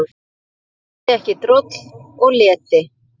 Þoldi ekki droll og leti.